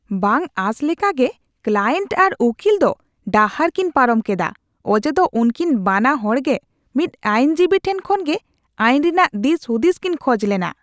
ᱵᱟᱝ ᱟᱥ ᱞᱮᱠᱟᱜᱮ, ᱠᱞᱟᱭᱮᱱᱴ ᱟᱨ ᱩᱠᱤᱞ ᱫᱚ ᱰᱟᱦᱟᱨ ᱠᱤᱱ ᱯᱟᱨᱚᱢ ᱠᱮᱫᱟ, ᱚᱡᱮ ᱫᱚ ᱩᱱᱠᱤᱱ ᱵᱟᱱᱟ ᱦᱚᱲ ᱜᱮ ᱢᱤᱫ ᱟᱹᱭᱤᱱ ᱡᱤᱵᱤ ᱴᱷᱮᱱ ᱠᱷᱚᱱᱜᱮ ᱟᱭᱤᱱ ᱨᱮᱭᱟᱜ ᱫᱤᱥᱼᱦᱩᱫᱤᱥ ᱠᱤᱱ ᱠᱷᱚᱡ ᱞᱮᱱᱟ ᱾